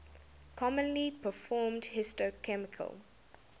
commonly performed histochemical